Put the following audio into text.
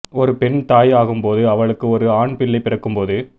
ஒரு பெண் தாய் ஆகும்போது அவளுக்கு ஒரு ஆன் பிள்ளை பிறக்கும்போது